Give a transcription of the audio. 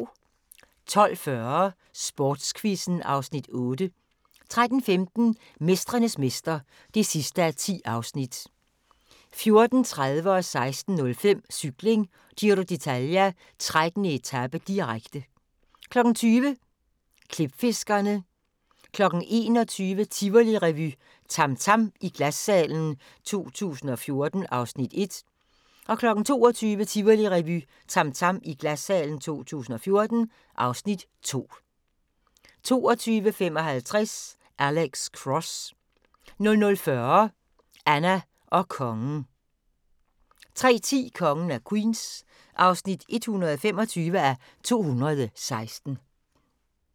12:40: Sportsquizzen (Afs. 8) 13:15: Mestrenes mester (10:10) 14:30: Cykling: Giro d'Italia - 13. etape, direkte 16:05: Cykling: Giro d'Italia - 13. etape, direkte 20:00: Klipfiskerne 21:00: Tivolirevy – TAM TAM i Glassalen 2014 (Afs. 1) 22:00: Tivolirevy – TAM TAM i Glassalen 2014 (Afs. 2) 22:55: Alex Cross 00:40: Anna og Kongen 03:10: Kongen af Queens (125:216)